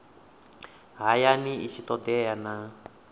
hayani i tshi todea na